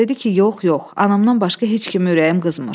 Dedi ki, yox, yox, anamdan başqa heç kimə ürəyim qızmır.